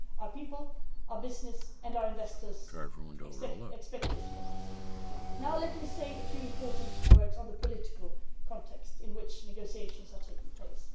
Our people, our business and our investors expect this from us. Now let me say a few important words on the political context, in which negotiations are taking place.